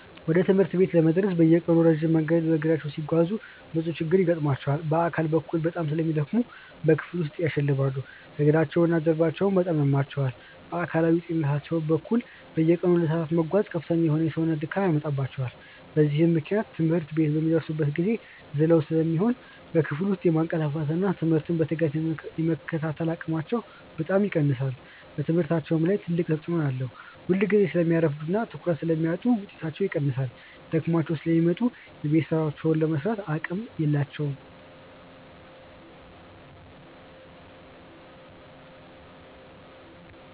ወደ ትምህርት ቤት ለመድረስ በየቀኑ ረጅም መንገድ በእግራቸው ሲጓዙ ብዙ ችግሮች ይገጥሟቸዋል። በአካል በኩል በጣም ስለሚደክሙ በክፍል ውስጥ ያሸልባሉ፤ እግራቸውና ጀርባቸውም በጣም ያማቸዋል። በአካላዊ ጤንነታቸው በኩል፣ በየቀኑ ለሰዓታት መጓዛቸው ከፍተኛ የሆነ የሰውነት ድካም ያመጣባቸዋል። በዚህም ምክንያት ትምህርት ቤት በሚደርሱበት ጊዜ ዝለው ስለሚሆኑ በክፍል ውስጥ የማንቀላፋትና ትምህርቱን በትጋት የመከታተል አቅማቸው በጣም ይቀንሳል። በትምህርታቸውም ላይ ትልቅ ተጽዕኖ አለው፤ ሁልጊዜ ስለሚያረፍዱና ትኩረት ስለሚያጡ ውጤታቸው ይቀንሳል። ደክሟቸው ስለሚመጡ የቤት ሥራቸውን ለመሥራትም አቅም የላቸውም።